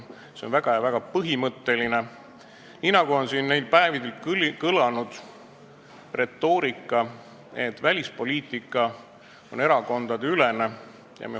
See on väga põhimõtteline küsimus, nii nagu siin neil päevil kõlanud retoorikas on ka kinnitatud, et välispoliitika on erakondadeülene.